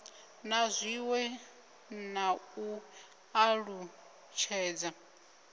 na zwiwe na u alutshedza